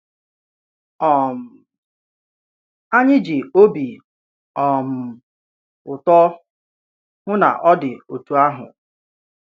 um Anyị ji obi um ùtò hụ́ na ọ̀ dị́ otú ahụ.